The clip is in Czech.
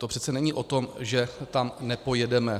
To přece není o tom, že tam nepojedeme.